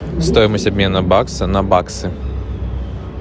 стоимость обмена бакса на баксы